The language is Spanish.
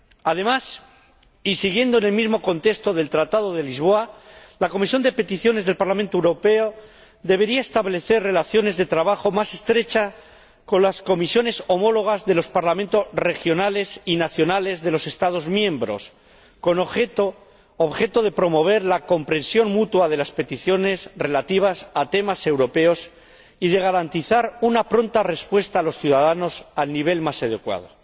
Además, y siguiendo en el mismo contexto del Tratado de Lisboa, la Comisión de Peticiones del Parlamento Europeo debería establecer relaciones de trabajo más estrechas con las comisiones homólogas de los Parlamentos regionales y nacionales de los Estados miembros, con objeto de promover la comprensión mutua de las peticiones relativas a temas europeos y de garantizar una pronta respuesta a los ciudadanos al nivel más adecuado.